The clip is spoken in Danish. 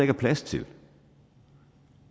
er plads til